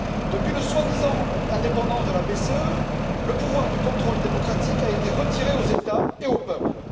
Depuis la soi disant indépendance de la BCE, le pouvoir de contrôle démocratique a été retiré aux États et aux peuples.